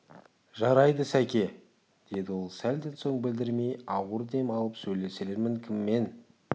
жарайды сәке деді ол сәлден соң білдірмей ауыр дем алып сөйлесермін кіммен